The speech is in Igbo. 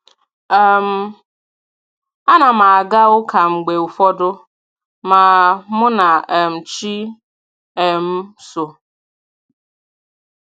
um A na m aga ụka mgbe ụfọdụ ma mụ na um chi um m so